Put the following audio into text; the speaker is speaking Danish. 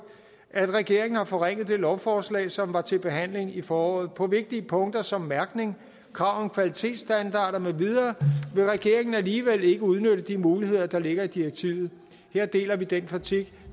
at regeringen har forringet det lovforslag som var til behandling i foråret på vigtige punkter som mærkning krav om kvalitetsstandarder med videre vil regeringen alligevel ikke udnytte de muligheder der ligger i direktivet her deler vi den kritik